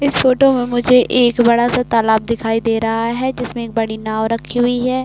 इस फोटो में मुझे एक बड़ा सा तालाब दिखाई दे रहा है। जिसमें एक बड़ी नाव रखी हुई है।